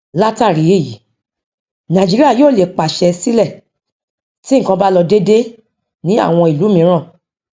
látàrí èyí nàìjíríà yóò lè pàṣẹ sílẹ tí nkan bá lọ dédé ní àwọn ìlú mìíràn